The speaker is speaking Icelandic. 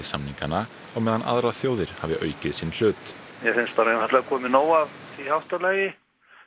samningana á meðan aðrar þjóðir hafi aukið sinn hlut mér finnst bara einfaldlega verið komið nóg af því háttalagi